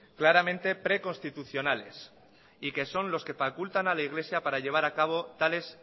claramente preconstitucionales y que son los que facultan a la iglesia para llevar a acabo tales